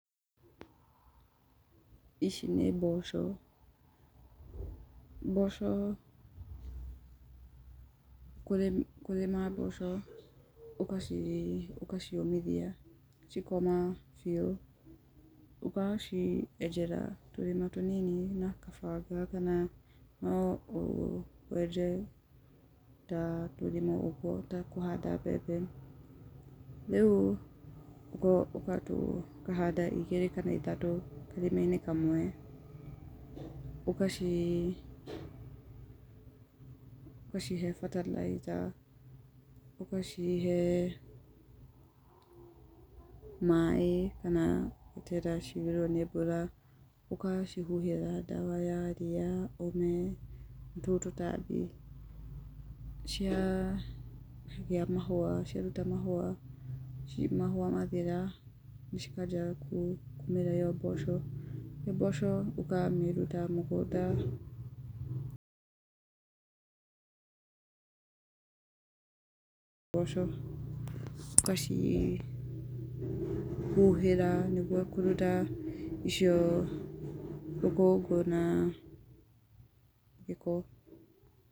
Ici nĩ mboco. Mboco, kũrĩma mboco ũgaci, ũgaciũmithia, cikũma biũ, ũgacienjera tũrima tũnini na gabanga, kana no o, wenje ta tũrima ũguo ta kũhanda mbembe, rĩu ũgatũ, ũkahanda igĩrĩ kana ithatũ karima-inĩ kamwe, ũgaci, ũgacihe bataraitha, ũgacihe maĩ, kana gwĩterera ciurĩrwo nĩ mbura. Ũgacihuhĩra ndawa ya ria, ũme, na tũu tũtambi. Cia gĩa mahũa, cia ruta mahũa, mahũa mathira cikanjia kũmĩra ĩo mboco. ĩyo mboco ũkamĩruta mũgũnda, mboco, ũgacihuhĩra nĩguo kũruta icio rũkũngũ na gĩko.